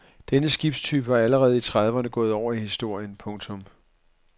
Denne skibstype var allerede i trediverne gået over i historien. punktum